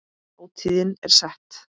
Hátíðin er sett.